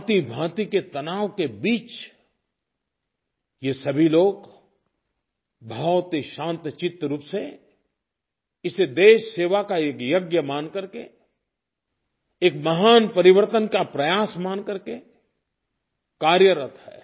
भाँतिभाँति के तनाव के बीच ये सभी लोग बहुत ही शांतचित्त रूप से इसे देशसेवा का एक यज्ञ मान करके एक महान परिवर्तन का प्रयास मान करके कार्यरत हैं